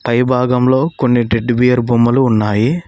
పై భాగంలో కొన్ని టెడ్డీబేర్ బొమ్మలు ఉన్నాయి.